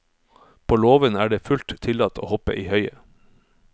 På låven er det fullt tillatt å hoppe i høyet.